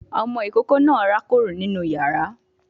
Ọmọ ìkókó náà rákòrò nínú yàrá